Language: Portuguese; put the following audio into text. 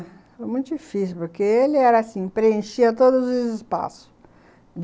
Foi muito difícil, porque ele era assim, preenchia todos os espaços.